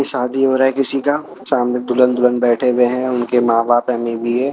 शादी हो रहा है किसी का सामने दुल्हन दुल्हन बैठे हुए हैं उनके मां बाप भी है।